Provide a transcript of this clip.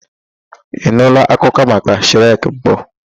Ị nụụla akụkọ maka Shrek mbụ?